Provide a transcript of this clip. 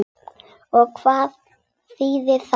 Og hvað þýðir það?